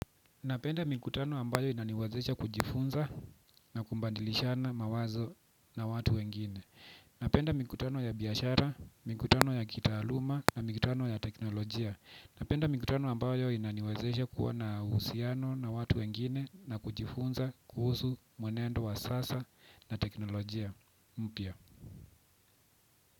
Napenda mikutano ambayo inaniwazesha kujifunza na kumbandilishana mawazo na watu wengine. Napenda mikutano ya biashara, mikutano ya kitaaluma na mikutano ya teknolojia. Napenda mikutano ambayo inaniwazesha kuwa na uhusiano na watu wengine na kujifunza kuhusu mwenendo wa sasa na teknolojia mpya.